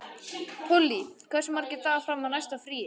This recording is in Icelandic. Polly, hversu margir dagar fram að næsta fríi?